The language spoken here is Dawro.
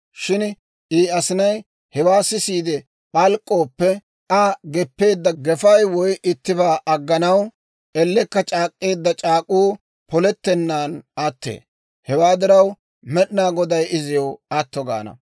Shin I asinay hewaa sisiide p'alk'k'ooppe, Aa geppeedda gefay woy ittibaa agganaw ellekka c'aak'k'eedda c'aak'uu polettennaan attee. Hewaa diraw, Med'inaa Goday iziw atto gaana.